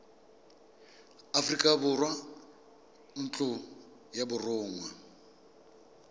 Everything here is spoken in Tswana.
aforika borwa ntlo ya borongwa